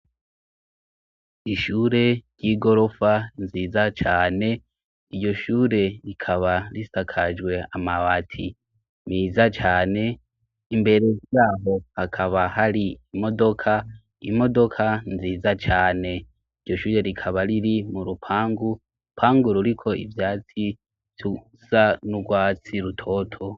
Ishure ry'igorofa nziza cane, iryo shure rikaba risakajwe amabati meza cane, imbere yabo hakaba hari imodoka, imodoka nziza cane, iryo shure rikaba riri mu rupangu, urupangu ruriko ivyatsi bisa n'urwatsi rutoto.